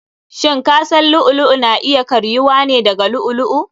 Shin kasan lu'u lu'u na iya karyuwa ne daga llu'u lu'u?